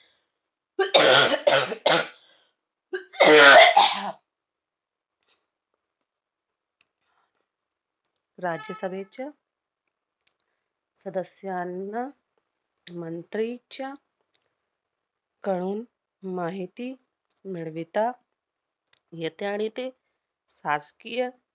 राज्यसभेच्या सदस्यांना मंत्रीच्या कळून माहिती मिळविता येते, आणि ते शासकीय